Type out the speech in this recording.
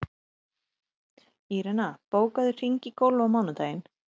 Írena, bókaðu hring í golf á mánudaginn.